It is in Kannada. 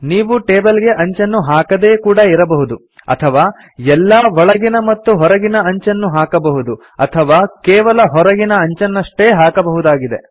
ನೀವು ಟೇಬಲ್ ಗೆ ಅಂಚನ್ನು ಹಾಕದೆಯೇ ಕೂಡಾ ಇರಬಹುದು ಅಥವಾ ಎಲ್ಲ ಒಳಗಿನ ಮತ್ತು ಹೊರಗಿನ ಅಂಚನ್ನು ಹಾಕಬಹುದು ಅಥವಾ ಕೇವಲ ಹೊರಗಿನ ಅಂಚನಷ್ಟೇ ಹಾಕಬಹುದಾಗಿದೆ